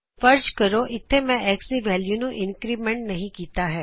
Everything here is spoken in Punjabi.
ਫ਼ਰਜ਼ ਕਰੋ ਇਥੇ ਮੈਂ X ਦੀ ਵੈਲਿਯੂ ਨੂੰ ਇੰਕਰੀਮੈੰਟ ਨਹੀ ਕੀਤਾ ਸੀ